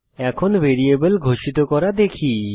এখন ভ্যারিয়েবল ঘোষিত করা দেখি